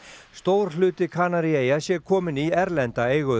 stór hluti Kanaríeyja sé kominn í erlenda eigu